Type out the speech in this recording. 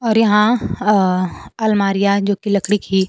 और यहां अ अलमारियां जो कि लकड़ी की--